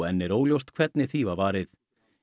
enn óljóst hvernig því var varið